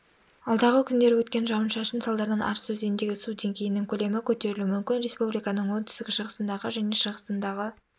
алдағы күндері өткен жауын-шашын салдарынан арыс өзеніндегі су деңгейінің көлемі көтерілуі мүмкін республиканың оңтүстік-шығысындағы және шығысындағы